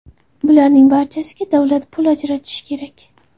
Bularning barchasiga davlat pul ajratishi kerak.